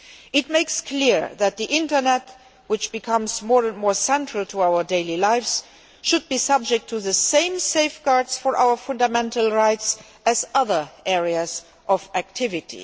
It makes clear that the internet, which is becoming more and more central to our daily lives, should be subject to the same safeguards for our fundamental rights as other areas of activity.